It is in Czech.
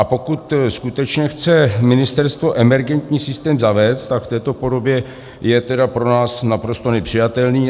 A pokud skutečně chce ministerstvo emergentní systém zavést, tak v této podobě je tedy pro nás naprosto nepřijatelný.